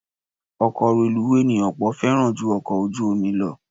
Ọkọ̀ reluwé ni ọ̀pọ̀ fẹ́ràn ju ọkọ ojú omi lọ